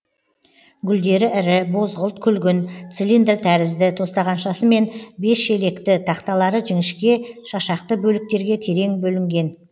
гүлдері ірі бозғылт күлгін цилиндр тәрізді тостағаншасымен бес желекті тақталары жіңішке шашақты бөліктерге терең бөлінген